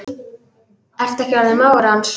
Ertu ekki orðinn mágur hans?